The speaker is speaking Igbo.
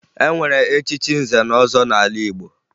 E nwere echichi nze na ọzọ n'ala Igbo